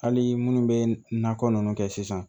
Hali minnu bɛ nakɔ ninnu kɛ sisan